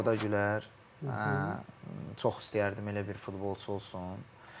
Arda Güler, çox istəyərdim elə bir futbolçu olsun.